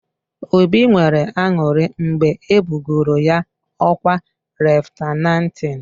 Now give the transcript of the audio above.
Obi nwere aṅụrị mgbe e bugoro ya ọkwa leftanantị.